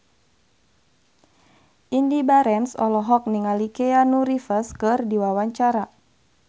Indy Barens olohok ningali Keanu Reeves keur diwawancara